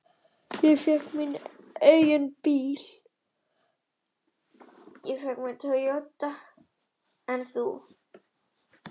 Hann verður að hafa náð átján ára aldri og hafa komið til